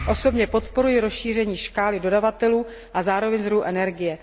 Osobně podporuji rozšíření škály dodavatelů a zároveň zdrojů energie.